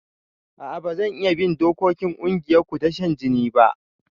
A'a bazan iya bin dokokin kungiyarku ta shan jini ba